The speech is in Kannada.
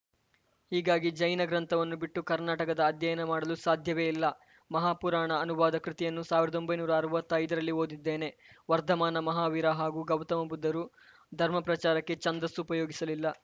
ಹೀಗಾಗಿ ಜೈನ ಗ್ರಂಥವನ್ನು ಬಿಟ್ಟು ಕರ್ನಾಟಕದ ಅಧ್ಯಯನ ಮಾಡಲು ಸಾಧ್ಯವೇ ಇಲ್ಲ ಮಹಾಪುರಾಣ ಅನುವಾದ ಕೃತಿಯನ್ನು ಸಾವಿರದೊಂಬೈನೂರ ಅರ್ವತ್ತೈದರಲ್ಲಿ ಓದಿದ್ದೇನೆ ವರ್ಧಮಾನ ಮಹಾವೀರ ಹಾಗೂ ಗೌತಮ ಬುದ್ಧರು ಧರ್ಮ ಪ್ರಚಾರಕ್ಕೆ ಛಂದಸ್ಸು ಉಪಯೋಗಿಸಲಿಲ್ಲ